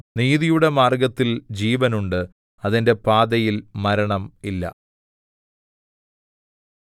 നീതിയുടെ മാർഗ്ഗത്തിൽ ജീവനുണ്ട് അതിന്റെ പാതയിൽ മരണം ഇല്ല